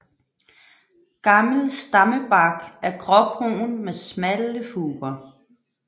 Gammel stammebark er gråbrun med smalle furer